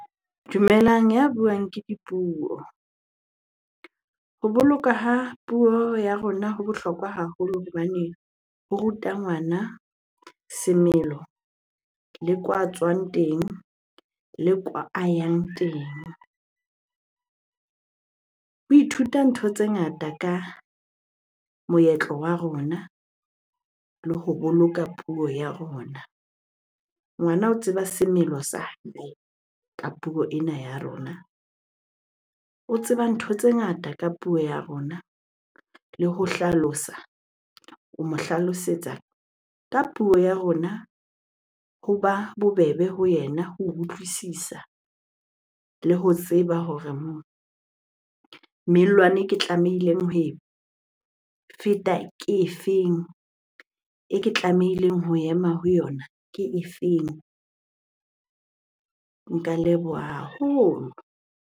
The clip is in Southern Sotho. Dumelang, ya buang ke Dipuo. Ho boloka ha puo ya rona ho bohlokwa haholo hobane ho ruta ngwana semelo le kwaa a tswang teng le kwaa a yang teng. O ithuta ntho tse ngata ka moetlo wa rona le ho boloka puo ya rona. Ngwana o tseba semelo sa ka puo ena ya rona, o tseba ntho tse ngata ka puo ya rona. Le ho hlalosa, o mo hlalosetsa ka puo ya rona hoba bobebe ho yena ho utlwisisa le ho tseba hore e ke tlamehileng ho e feta ke e feng? E ke tlamehileng ho ema ho yona ke e feng? Nka leboha haholo.